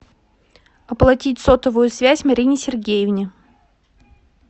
оплатить сотовую связь марине сергеевне